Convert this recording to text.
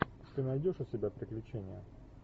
ты найдешь у себя приключения